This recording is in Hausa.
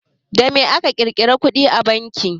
Da me ake ƙirga kuɗi a banki?